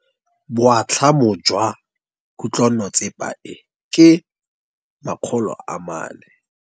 Boatlhamô jwa khutlonnetsepa e, ke 400.